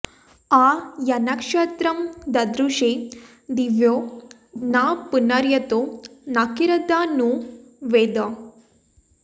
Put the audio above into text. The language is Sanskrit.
आ यन्नक्षत्रं ददृशे दिवो न पुनर्यतो नकिरद्धा नु वेद